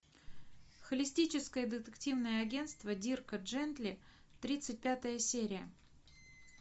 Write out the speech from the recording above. холистическое детективное агентство дирка джентли тридцать пятая серия